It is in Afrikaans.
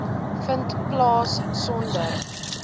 vind plaas sonder